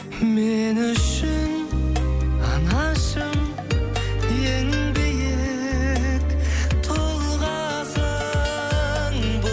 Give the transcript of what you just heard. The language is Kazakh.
мен үшін анашым ең биік тұлғасың